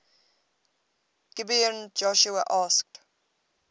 gibeon joshua asked